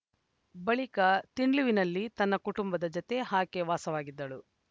ಬಳಿಕ ತಿಂಡ್ಲುವಿನಲ್ಲಿ ತನ್ನ ಕುಟುಂಬದ ಜತೆ ಆಕೆ ವಾಸವಾಗಿದ್ದಳು